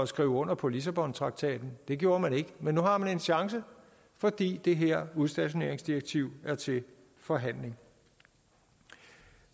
skrive under på lissabontraktaten det gjorde man ikke men nu har man en chance fordi det her udstationeringsdirektiv er til forhandling